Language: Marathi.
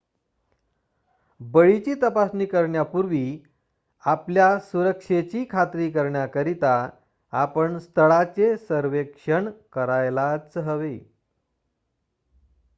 बळीची तपासणी करण्यापूर्वी आपल्या सुरक्षेची खात्री करण्याकरिता आपण स्थळाचे सर्वेक्षण करायलाच हवे